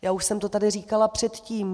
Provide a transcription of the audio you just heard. Já už jsem to tady říkala předtím.